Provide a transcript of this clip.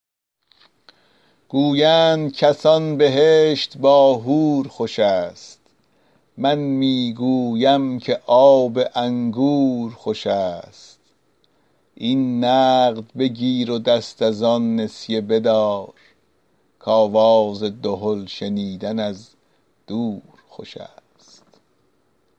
گویند کسان بهشت با حور خوش است من می گویم که آب انگور خوش است این نقد بگیر و دست از آن نسیه بدار که آواز دهل شنیدن از دور خوش است